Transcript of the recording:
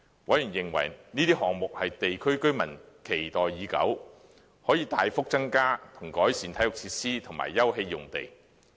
委員認為這些項目是地區居民期待已久，可以大幅增加和改善體育設施及休憩用地。